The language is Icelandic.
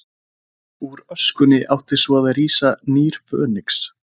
Úr öskunni átti svo að rísa nýr Fönix.